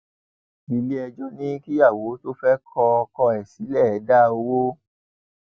iléẹjọ ní kíyàwó tó fẹẹ kọ ọkọ ẹ ẹ sílẹ dá owó